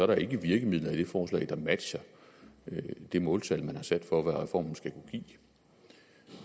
der ikke virkemidler i det forslag der matcher det måltal som man har sat for hvad reformen skal kunne give